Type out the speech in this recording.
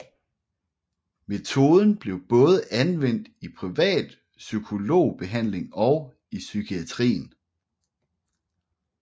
Metoden blev både anvendt i privat psykologbehandling og i psykiatrien